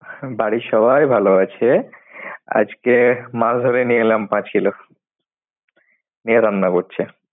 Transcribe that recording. বাড়ির সবাই ভালো আছে। আজকে মাছ ধরে নিয়ে এলাম পাঁচ Kilo । নিয়ে রান্না করছি।